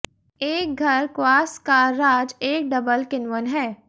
एक घर क्वास का राज एक डबल किण्वन है